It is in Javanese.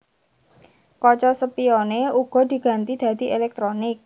Kaca spione uga diganti dadi elektronik